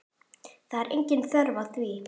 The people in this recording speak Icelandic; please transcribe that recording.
Það er engin þörf á því.